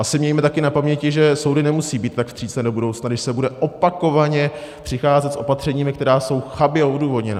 Asi mějme také na paměti, že soudy nemusí být tak vstřícné do budoucna, když se bude opakovaně přicházet s opatřeními, která jsou chabě odůvodněna.